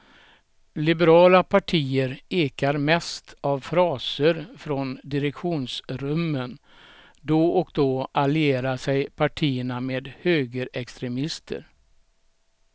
Liberala partier ekar mest av fraser från direktionsrummen, då och då allierar sig partierna med högerextremister.